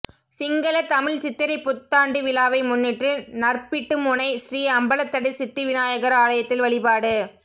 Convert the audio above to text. சிங்கள தமிழ் சித்திரைப் புத்தாண்டு விழாவை முன்னிட்டு நற்பிட்டிமுனை ஸ்ரீ அம்பலத்தடி சித்தி விநாயகர் ஆலயத்தில் வழிபாடு